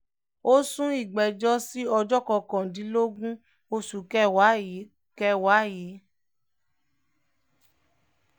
ó sún ìgbẹ́jọ́ sí ọjọ́ kọkàndínlógún oṣù kẹwàá yìí kẹwàá yìí